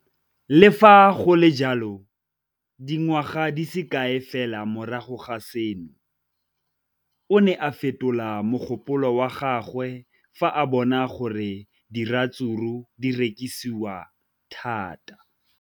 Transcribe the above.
Le fa go le jalo, dingwaga di se kae fela morago ga seno, o ne a fetola mogopolo wa gagwe fa a bona gore diratsuru di rekisiwa thata.